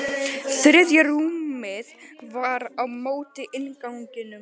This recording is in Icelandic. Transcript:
Þriðja rúmið var á móti innganginum.